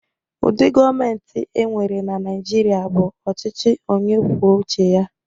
Ụdị gọọmentị e nwere na Naịjirịa bụ ọchịchị onye kwuo uche ya.